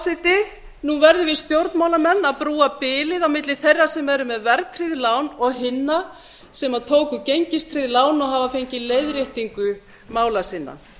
forseti nú verðum við stjórnmálamenn að brúa bilið á milli þeirra sem eru með verðtryggð lán og hinna sem tóku gengistryggð lán og hafa fengið leiðréttingu mála sinna hættum